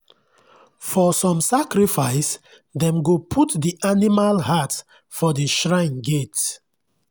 for some sacrifice dem go put the animal heart for the shrine gate.